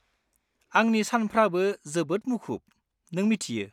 -आंनि सानफ्राबो जोबोद मुखुब, नों मिथियो।